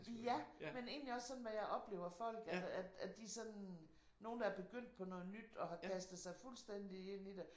Ja men egentlig også sådan hvad jeg oplever folk altså at de sådan nogen der er begyndt på noget nyt og har kastet sig fuldstændigt ind i det